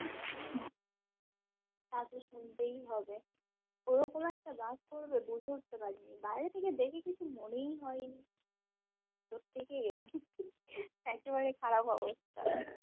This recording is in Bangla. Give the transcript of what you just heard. তাতো শুনতেই হবে ওইরকম একটা bus পড়বে বুঝে উঠতে পারিনি বাইরে থেকে দেখে কিছু মনেই হয়নি এর থেকে একেবারে খারাপ অবস্থা